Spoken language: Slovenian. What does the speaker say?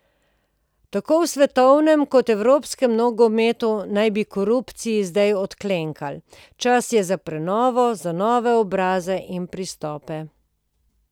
Tako v svetovnem kot evropskem nogometu naj bi korupciji zdaj odklenkalo, čas je za prenovo, za nove obraze in pristope.